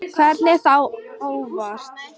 Hvernig þá óvitar?